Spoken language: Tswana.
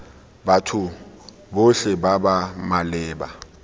batho botlhe ba ba maleba